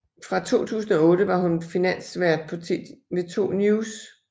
Fra 2008 var hun finansvært på TV 2 News